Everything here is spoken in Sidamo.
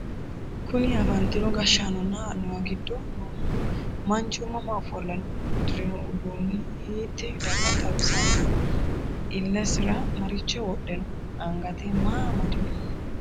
kuni afantino gashshaanonna annuwu giddo noohu manchu mama ofolle no? uddirino uduunni hiittee daga xawisannoho? illseira maricho wodhe no? angate maa amadino?